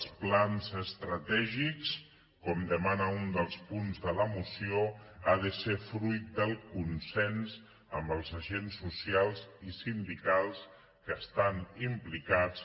els plans estratègics com demana un dels punts de la moció han de ser fruit del consens amb els agents socials i sindicals que hi estan implicats